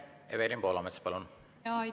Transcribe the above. Evelin Poolamets, palun!